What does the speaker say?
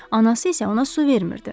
Anası isə ona su vermirdi.